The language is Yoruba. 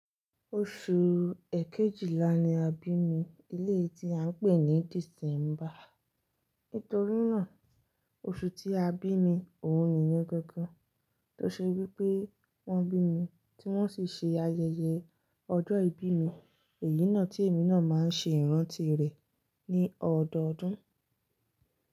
Oṣù ekejìlá ni a bí mi, eleyi tí à ń pè ní December. Nítorínà oṣù tí a bí mi, òun nìyẹn gangan tó ṣe wípé wón bí mi tí wón sì ṣe ayẹyẹ ọjọ́ ìbí mi, èyí náà tí èmi náà máa ń ṣe ìrántí rẹ̀ ní ọdọọdún.